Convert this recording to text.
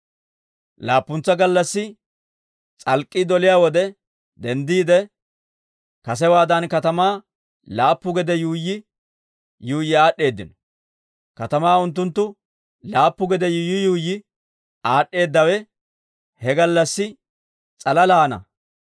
Laappuntsa gallassi s'alk'k'ii doliyaa wode denddiide, kasewaadan katamaa laappu gede yuuyyi yuuyyi aad'd'eedino. Katamaa unttunttu laappu gede yuuyyi yuuyyi aad'd'eedawe he gallassi s'alalaana.